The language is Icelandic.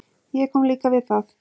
Ég kom líka við það.